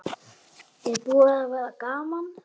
Er búið að vera gaman?